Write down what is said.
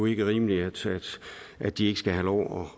ikke rimeligt at de ikke skal have lov